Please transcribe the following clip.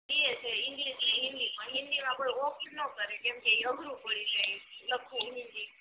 બેય છે ઇંગ્લિશ ને હિન્દી પણ હિન્દી માં કોઈ ઓફર નો કરે કેમ કે એ અઘરું પડી જાય લખવું હિન્દી